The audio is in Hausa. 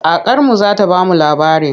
Kakarmu za ta ba mu labari.